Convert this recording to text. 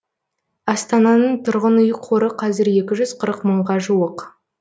астананың тұрғын үй қоры қазір екі жүз қырық мыңға жуық